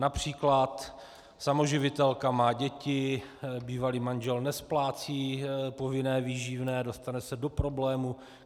Například samoživitelka má děti, bývalý manžel nesplácí povinné výživné, dostane se do problémů.